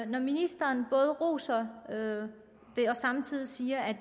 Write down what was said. når ministeren både roser det og samtidig siger at